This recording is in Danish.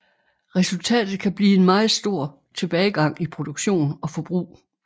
Resultatet kan blive en meget stor tilbagegang i produktion og forbrug